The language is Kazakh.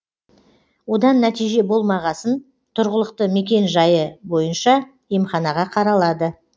одан нәтиже болмағасын тұрғылықты мекен жайы бойынша емханаға қаралады